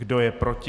Kdo je proti?